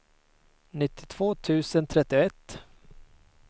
nittiotvå tusen trettioett